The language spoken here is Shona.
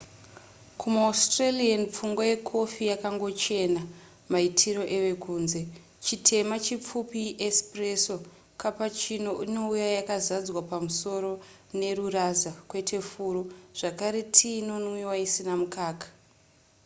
kumaaustralian pfungwa yekofi yakangochena maitiro evekunze. chitema chipfupi iespresso cappuccino inouya yakazadzwa pamusoro neruraza kwete furo zvakare tii inonwiwa isina mukaka